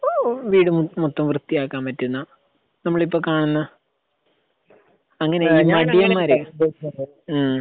ഓഹ് വീട് മൊത്തം വൃത്തിയാക്കാൻ പറ്റുന്ന നമ്മളിപ്പോൾ കാണുന്ന അങ്ങനെയുള്ള മടിയൻമാർ ഹ്മ്